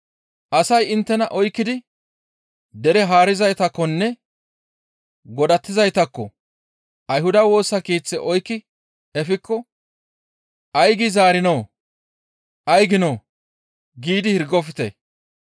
«Asay inttena oykkidi dere haarizaytakkonne godatizaytakko; Ayhuda Woosa Keeththe oykki efikko, ‹Ay gi zaarinoo? Ay giinoo?› giidi hirgofte.